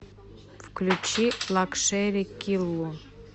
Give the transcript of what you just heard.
включи лакшери киллу